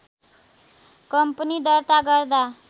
company दर्ता गर्दा